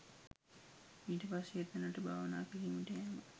ඊට පස්සේ එතැනට භාවනා කිරීමට යෑම